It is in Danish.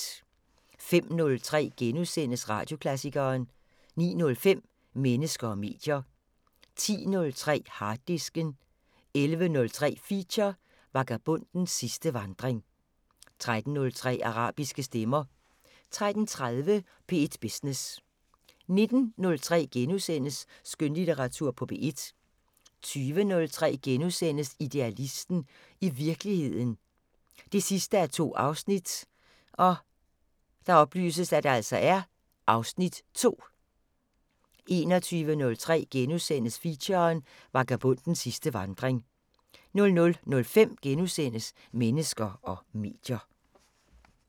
05:03: Radioklassikeren * 09:05: Mennesker og medier 10:03: Harddisken 11:03: Feature: Vagabondens sidste vandring 13:03: Arabiske stemmer 13:30: P1 Business 19:03: Skønlitteratur på P1 * 20:03: Idealisten – i virkeligheden 2:2 (Afs. 2)* 21:03: Feature: Vagabondens sidste vandring * 00:05: Mennesker og medier *